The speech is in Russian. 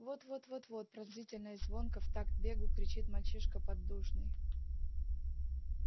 вот вот вот вот пронзительно и звонко в такт бегу кричит мальчишка-поддужный